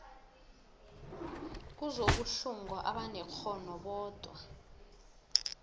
kuzokuhlungwa abanekghono bodwa